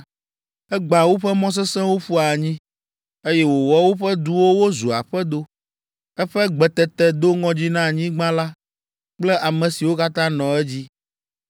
Egbã woƒe mɔ sesẽwo ƒu anyi, eye wòwɔ woƒe duwo wozu aƒedo. Eƒe gbetete do ŋɔdzi na anyigba la kple ame siwo katã nɔ edzi